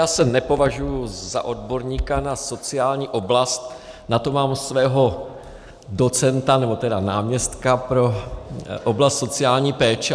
Já se nepovažuji za odborníka na sociální oblast, na to mám svého docenta, nebo tedy náměstka pro oblast sociální péče.